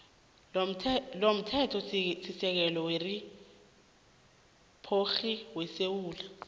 lomthethosisekelo weriphabhligi yesewula